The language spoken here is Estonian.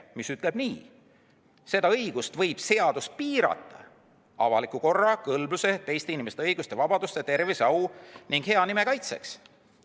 See ütleb nii: "Seda õigust võib seadus piirata avaliku korra, kõlbluse, teiste inimeste õiguste ja vabaduste, tervise, au ning hea nime kaitseks.